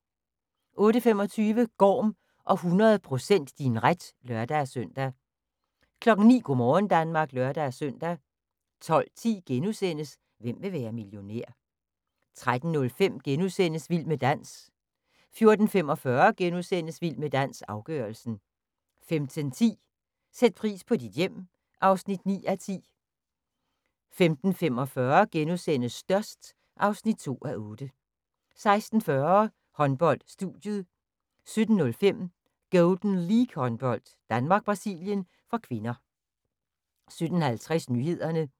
08:25: Gorm og 100 % din ret (lør-søn) 09:00: Go' morgen Danmark (lør-søn) 12:10: Hvem vil være millionær? * 13:05: Vild med dans * 14:45: Vild med dans – afgørelsen * 15:10: Sæt pris på dit hjem (9:10) 15:45: Størst (2:8)* 16:40: Håndbold: Studiet 17:05: Golden League-håndbold: Danmark-Brasilien (k) 17:50: Nyhederne